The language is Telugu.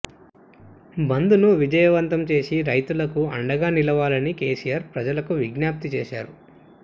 బంద్ను విజయవంతం చేసి రైతులకు అండగా నిలవాలని కేసీఆర్ ప్రజలకు విజ్ఞప్తి చేశారు